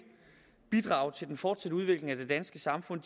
bidrage til den fortsatte udvikling af det danske samfund